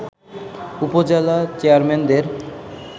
উপজেলা চেয়ারম্যানদের